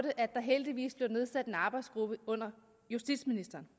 at der heldigvis blev nedsat en arbejdsgruppe under justitsministeren